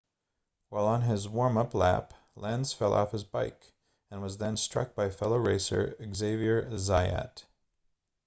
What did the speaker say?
while on his warm-up lap lenz fell off his bike and was then struck by fellow racer xavier zayat